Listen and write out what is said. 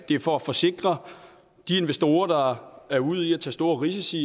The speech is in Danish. det er for at forsikre de investorer der er ude i at tage store risici